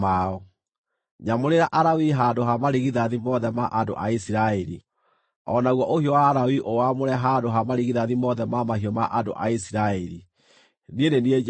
Nyamũrĩra Alawii handũ ha marigithathi mothe ma andũ a Isiraeli; o naguo ũhiũ wa Alawii ũwaamũre handũ ha marigithathi mothe ma mahiũ ma andũ a Isiraeli. Niĩ nĩ niĩ Jehova.”